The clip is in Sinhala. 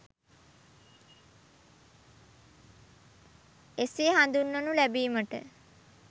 එසේ හඳුන්වනු ලැබීමට